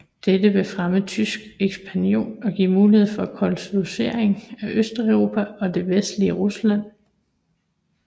Dette ville fremme tysk ekspansion og give mulighed for kolonisering af Østeuropa og det vestlige Rusland